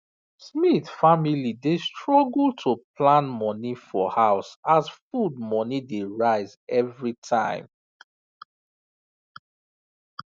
smith family dey struggle to plan money for house as food money dey rise every time